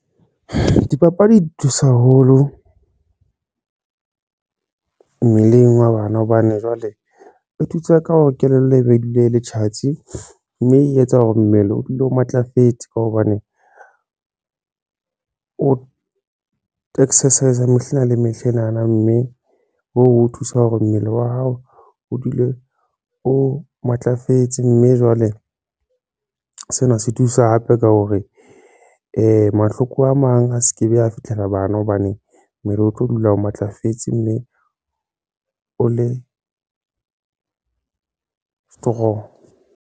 Dipapadi di thusa haholo mmeleng wa bana hobane jwale e thusa ka hore kelello e be e dule e le tjhatsi mme e etsa hore mmele o dule o matlafetse ka hobane o exercise mehla le mehla ena na, mme o thusa hore mmele wa hao o dule o matlafetse mme jwale sena se thusa sa hape ka hore mahloko a mang a se ka ba a fitlhela bana hobane mmele o tlo dula o matlafetse mme o le strong.